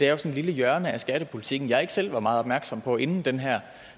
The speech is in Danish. er et lille hjørne af skattepolitikken jeg ikke selv var meget opmærksom på inden den her